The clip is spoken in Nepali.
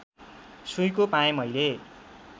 सुइँको पाएँ मैले